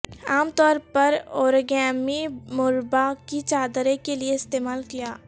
عام طور پر اوریگامی مربع کی چادریں کے لئے استعمال کیا